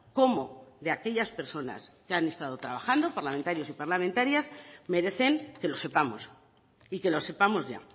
como de aquellas personas que han estado trabajando parlamentarios y parlamentarias merecen que lo sepamos y que lo sepamos ya